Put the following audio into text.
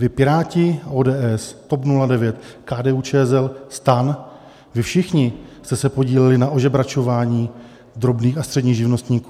Vy Piráti, ODS, TOP 09, KDU-ČSL, STAN, vy všichni jste se podíleli na ožebračování drobných a středních živnostníků.